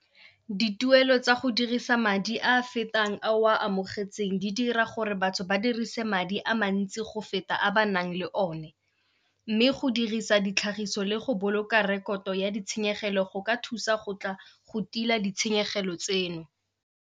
Dituelo tsa go dirisa madi a a fetang a o a amogetsweng di dira gore batho ba dirise madi a mantsi go feta a ba nang le one. Mme go dirisa ditlhagiso le go boloka rekoto ya ditshenyegelo go ka thusa go tla go tila ditshenyegelo tseno.